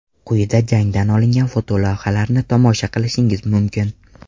Quyida jangdan olingan fotolavhalarni tomosha qilishingiz mumkin.